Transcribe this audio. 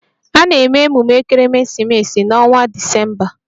A na-eme emume ekeresimesi n'ọnwa Disemba.